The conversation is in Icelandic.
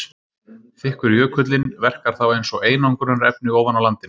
Þykkur jökullinn verkar þá eins og einangrunarefni ofan á landinu.